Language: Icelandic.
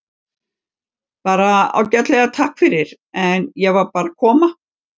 Bara ágætlega, takk fyrir, en ég var bara að koma.